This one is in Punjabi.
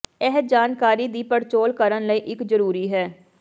ਇਹ ਜਾਣਕਾਰੀ ਦੀ ਪੜਚੋਲ ਕਰਨ ਲਈ ਇੱਕ ਜ਼ਰੂਰੀ ਹੈ